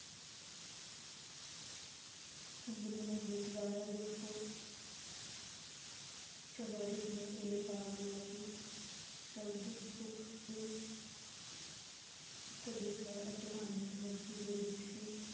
ਸੁੰਦਰੀ ਨੇ ਗੀਤ ਗਾਇਆ ਜਿਸਤੋਂ ਸਦਾਰਿਥ ਨੇ ਇਹ ਭਾਵ ਲਿਆ ਕਿ, ਸ਼ਬਦ, ਸੁਖ ਤੇ ਸਦੀਵ ਹੈ, ਅਤੇ ਆਨੰਦ ਮੁਕਤੀ ਦੇ ਵਿਚ ਹੀ